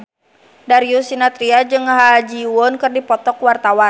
Darius Sinathrya jeung Ha Ji Won keur dipoto ku wartawan